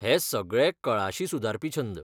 हे सगळे कळाशी सुदारपी छंद.